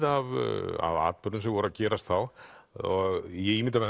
af af atburðum sem voru að gerast þá ég ímynda mér